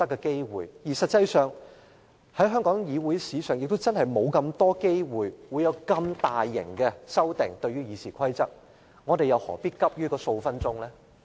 事實上，在香港議會史上罕有對《議事規則》作出如此大規模的修訂，我們又何必急於數分鐘？